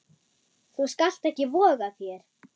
Þú skalt ekki voga þér!